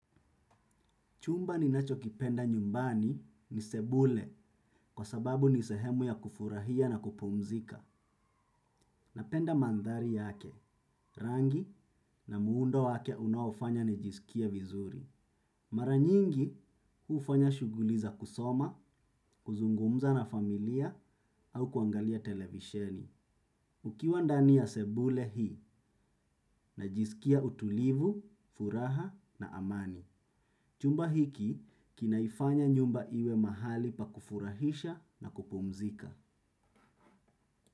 Chumba ninachokipenda nyumbani ni sebule kwa sababu ni sehemu ya kufurahia na kupumzika. Napenda mandhari yake, rangi na muundo wake unaofanya nijisikie vizuri. Mara nyingi hufanya shughuli za kusoma, kuzungumza na familia au kuangalia televisheni. Ukiwa ndani ya sebule hii najisikia utulivu, furaha na amani. Chumba hiki kinaifanya nyumba iwe mahali pa kufurahisha na kupumzika.